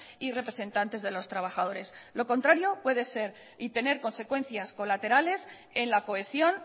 y representantes de los trabajadores lo contrario puede ser y tener consecuencias colaterales en la cohesión